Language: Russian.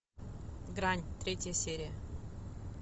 грань третья серия